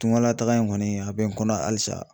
Tungalataga in kɔni a bɛ n kɔnɔ halisa.